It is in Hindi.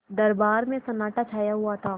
दरबार में सन्नाटा छाया हुआ था